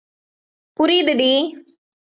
புரியுதுடி